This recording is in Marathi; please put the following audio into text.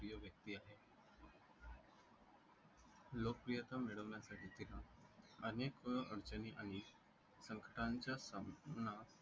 लोकप्रियता मिळवण्यासाठी एका अनेक अडचणी आणि संकटाचा सामना